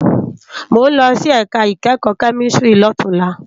Mó n lòsí èká ikèékò kèmísìtírì lótúnlá